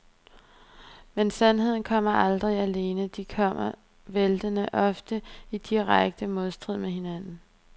Men sandheden kommer aldrig alene, de kommer væltende, ofte i direkte modstrid med hinanden.